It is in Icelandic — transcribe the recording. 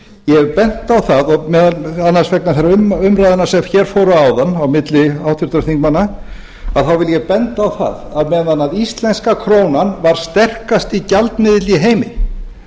ég hef bent á það meðal annars vegna þeirra umræðna sem hér fóru fram áðan á milli háttvirtra þingmanna þá vil ég benda á það að meðan íslenska krónan var sterkasti gjaldmiðill í heimi